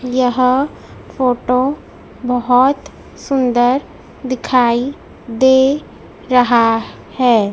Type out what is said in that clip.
यह फोटो बहोत सुंदर दिखाई दे रहा है।